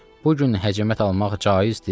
Bu gün həcəmət almaq caizdir?